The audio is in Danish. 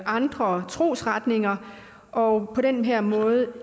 andre trosretninger og på den her måde